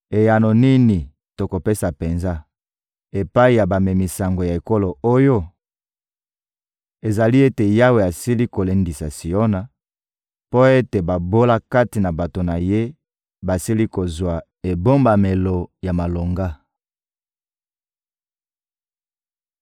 Eyano nini tokopesa penza epai ya bamemi sango ya ekolo oyo? Ezali ete Yawe asili kolendisa Siona mpo ete babola kati na bato na Ye basili kozwa ebombamelo ya malonga.»